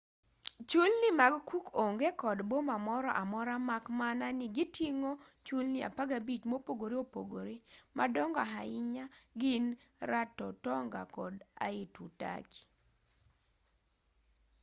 chulni mag cook onge kod boma moro amora mak mana ni giting'o chulni 15 mopogore opogore madongo ahinya gin rarotonga kod aitutaki